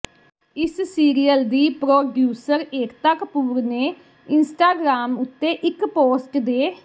ਇਸ ਸੀਰੀਅਲ ਦੀ ਪ੍ਰੋਡਿਊਸਰ ਏਕਤਾ ਕਪੂਰ ਨੇ ਇੰਸਟਾਗ੍ਰਾਮ ਉੱਤੇ ਇੱਕ ਪੋਸਟ ਦੇ